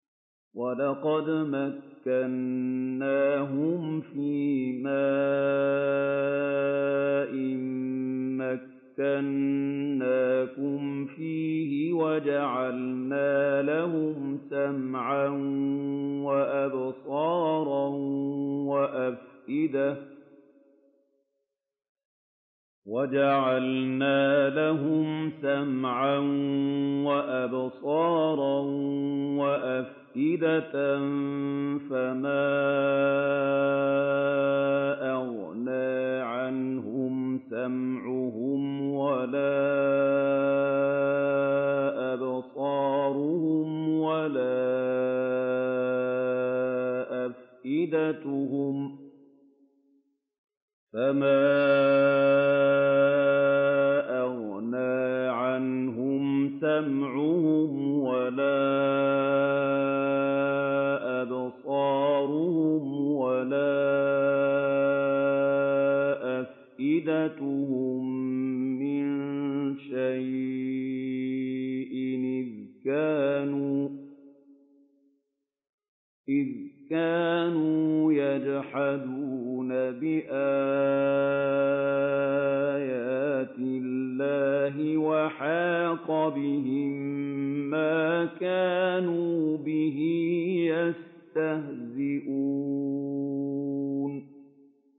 وَلَقَدْ مَكَّنَّاهُمْ فِيمَا إِن مَّكَّنَّاكُمْ فِيهِ وَجَعَلْنَا لَهُمْ سَمْعًا وَأَبْصَارًا وَأَفْئِدَةً فَمَا أَغْنَىٰ عَنْهُمْ سَمْعُهُمْ وَلَا أَبْصَارُهُمْ وَلَا أَفْئِدَتُهُم مِّن شَيْءٍ إِذْ كَانُوا يَجْحَدُونَ بِآيَاتِ اللَّهِ وَحَاقَ بِهِم مَّا كَانُوا بِهِ يَسْتَهْزِئُونَ